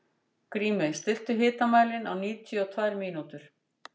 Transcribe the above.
Grímey, stilltu tímamælinn á níutíu og tvær mínútur.